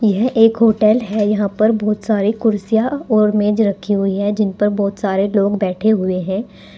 यह एक होटल है यहां पर बहुत सारे कुर्सियां और मेज रखी हुई है जिन पर बहुत सारे लोग बैठे हुए हैं।